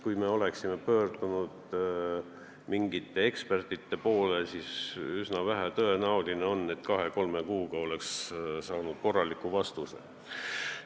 Kui me oleksime pöördunud mingite muude ekspertide poole, siis üsna tõenäoliselt poleks me kahe-kolme kuuga korralikku vastust saanud.